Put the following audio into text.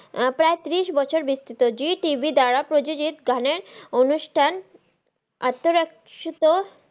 প্রায় তিরিশ বছর বিস্ত্রিত ZeeTV দ্বারা প্রজতিত গানের অনুষ্ঠান আতরাক্সিত,